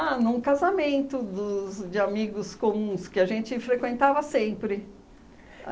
num casamento dos... de amigos comuns que a gente frequentava sempre.